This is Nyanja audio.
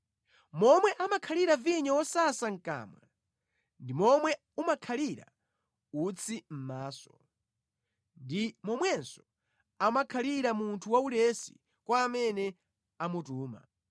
Momwe amakhalira vinyo wosasa mʼkamwa ndi momwe umakhalira utsi mʼmaso, ndi momwenso amakhalira munthu waulesi kwa amene amutuma.